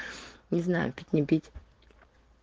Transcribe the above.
не знаю как не пить